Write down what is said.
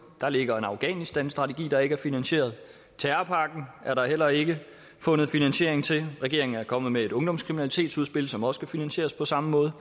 der ligger en afghanistanstrategi der ikke er finansieret terrorpakken er der heller ikke fundet finansiering til regeringen er kommet med et ungdomskriminalitetsudspil som også skal finansieres på samme måde